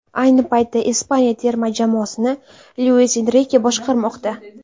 Ayni paytda Ispaniya terma jamoasini Luis Enrike boshqarmoqda.